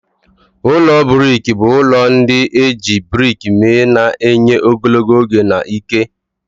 Ụlọ brik bụ ụlọ ndị e ji brik mee, na-enye ogologo oge na ike.